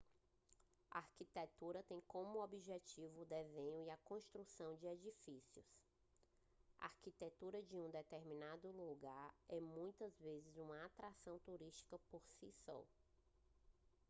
a arquitetura tem como objeto o desenho e construção de edifícios a arquitetura de um determinado lugar é muitas vezes uma atração turística por si só